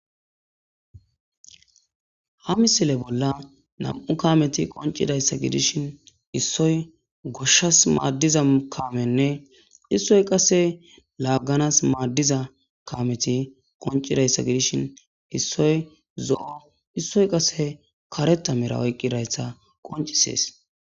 ha misile bolla nam'u kameti qoncidayssa gidishin issoy goshshas maaddiza kaamenne issoy qase laagganas maaddiza kameti qoncidayssa gidishin issoy zo'o issoy qase kareta mera oyqqidayssa qoncisees